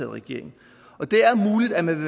i regering og det er muligt at man